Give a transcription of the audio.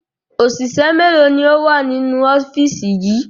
Òṣìṣẹ́ mélòó ni ó wà nínú ọ́fíìsì yìí?